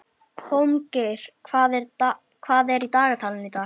Þrjár tegundir sækúa eru til.